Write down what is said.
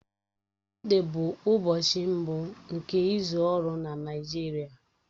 Mọnde bụ ụbọchị mbụ nke izu ọrụ na Naịjirịa.